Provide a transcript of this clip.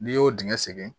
N'i y'o dingɛ segin